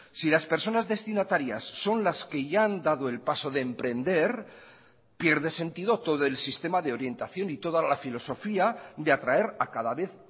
si las personas destinatarias son las que ya han dado el paso de emprender pierde sentido todo el sistema de orientación y toda la filosofía de atraer a cada vez